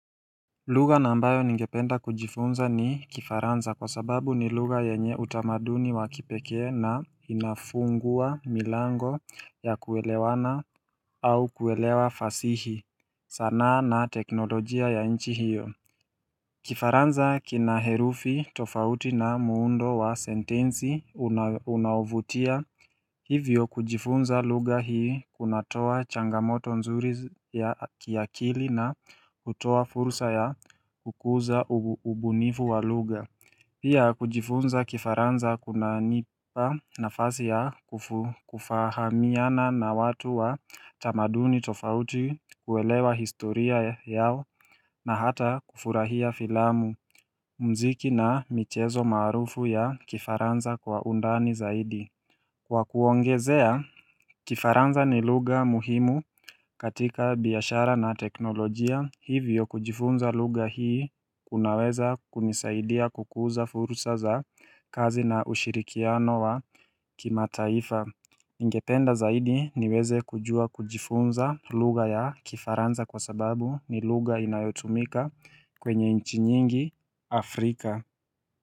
Lugha ambayo ningependa kujifunza ni kifaranza kwa sababu ni lugha yenye utamaduni wakipekee na inafungua milango ya kuelewana au kuelewa fasihi sanaa na teknolojia ya inchi hiyo Kifaranza kina herufi tofauti na muundo wa sentensi unauvutia Hivyo kujifunza lugha hii kunatoa changamoto nzuri ya kiakili na hutoa fursa ya kukuza ubunifu wa lugha Pia kujifunza kifaransa kuna nipa nafasi ya kufahamiana na watu wa tamaduni tofauti kuelewa historia yao na hata kufurahia filamu mziki na michezo maarufu ya kifaranza kwa undani zaidi Kwa kuongezea, kifaranza ni lugha muhimu katika biashara na teknolojia, hivyo kujifunza lugha hii kunaweza kunisaidia kukuza fursa za kazi na ushirikiano wa kimataifa. Ningependa zaidi niwezekujua kujifunza lugha ya kifaranza kwa sababu ni lugha inayotumika kwenye nchi nyingi Afrika.